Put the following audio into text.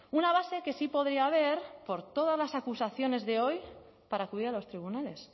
una base que sí podría haber por todas las acusaciones de hoy para acudir a los tribunales